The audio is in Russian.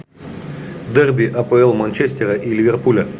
дерби апл манчестера и ливерпуля